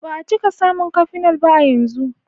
Ba a cika samun cafenol ba a yanzu.